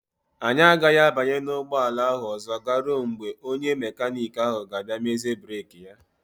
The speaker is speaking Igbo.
Anyị agaghị abanye n'ụgbọala ahụ ọzọ garuo mgbe onye mekaniki ahụ ga-abịa mezie breeki ya.